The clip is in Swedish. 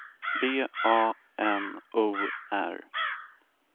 B A N O R